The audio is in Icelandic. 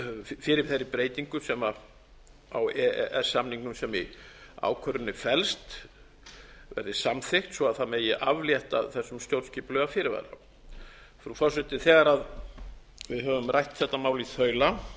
fyrir þeirri breytingu sem á e e s samningnum sem í ákvörðuninni felst verði samþykkt svo það megi aflétta þessum stjórnskipulega fyrirvara frú forseti þegar við höfum rætt þetta mál í þaula